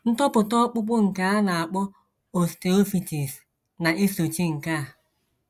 Ntopụta ọkpụkpụ nke a na - akpọ osteophytes na - esochi nke a.